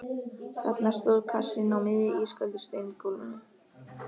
Þarna stóð kassinn á miðju ísköldu steingólfinu.